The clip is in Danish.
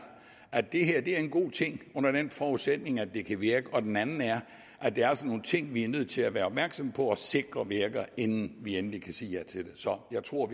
at det her er en god ting under forudsætning af at det kan virke og den anden er at der altså er nogle ting vi er nødt til at være opmærksomme på og sikre virker inden vi endeligt kan sige ja til det så jeg tror